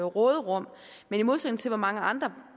råderum men i modsætning til hvad mange andre